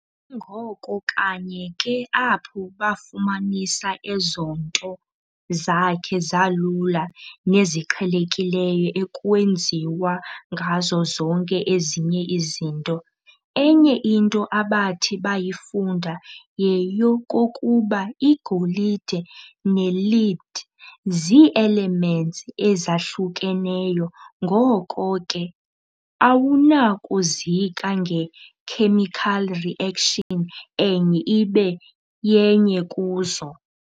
Kungoko kanye ke apho bafumanisa ezo nto zakhe zalula neziqhelekileyo ekwenziwa ngazo zonke ezinye izinto. Enye into abathi bayifunda yeyokokuba igolide ne-lead zii-elements ezahlukeneyo, ngoko ke awunakuzika nge-chemical reaction enye ibe yenye kuzo.